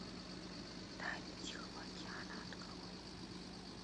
тайны тихого океана открой